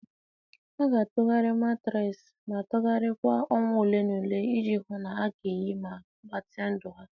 A ga-atụgharị matraasi ma tụgharịa kwa ọnwa ole na ole iji hụ na ọ ga-eyi ma gbatịa ndụ ha.